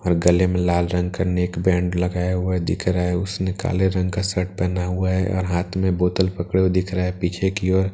और गले में लाल रंग का नेक बैंड लगाया हुआ है दिख रहा है उसने काले रंग का शर्ट पहना हुआ है और हाथ में बोतल पकड़े हुए दिख रहा है पीछे की ओर--